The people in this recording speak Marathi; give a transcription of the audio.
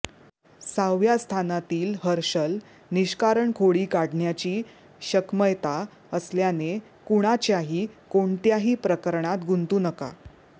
सहाव्या स्थानातील हर्षल निष्कारण खोडी काढण्याची शक्मयता असल्याने कुणाच्याही कोणत्याही प्रकरणात गुंतू नका